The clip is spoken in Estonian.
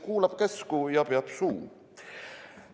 Kuulab käsku ja peab suu!